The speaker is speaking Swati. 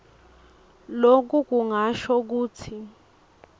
loku kungasho kutsi